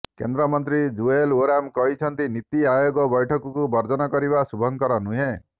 କେନ୍ଦ୍ର ମନ୍ତ୍ରୀ ଜୁଏଲ ଓରାମ କହିଛନ୍ତି ନୀତି ଆୟୋଗ ବ୘ଠକକୁ ବର୍ଜନ କରିବା ଶୁଭଙ୍କର ନୁହେଁ